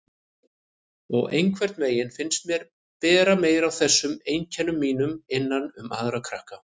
Og einhvern veginn fannst mér bera meira á þessum einkennum mínum innan um aðra krakka.